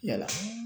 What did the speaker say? Yala